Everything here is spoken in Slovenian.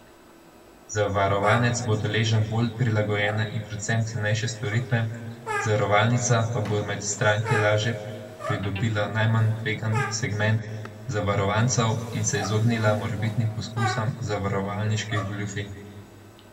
Zavarovanec bo deležen bolj prilagojene in predvsem cenejše storitve, zavarovalnica pa bo med stranke lažje pridobila najmanj tvegan segment zavarovancev in se izognila morebitnim poskusom zavarovalniških goljufij.